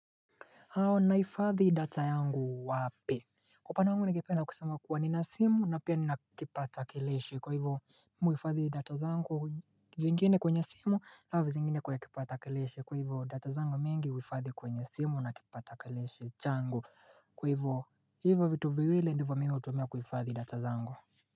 Nahifadhi data yangu wapi? Kwa upande wangu ningependa kusema kuwa nina simu na pia nina kipatakilishi Kwa hivyo mimi huhifadhi data zangu zingine kwenye simu alafu zingine kwa kipatakilishi Kwa hivyo data zangu mingi huhifadhi kwenye simu na kipatakilishi Kwa hivyo hivyo vitu viwili ndivyo mimi hutumia kuhifadhi data zangu.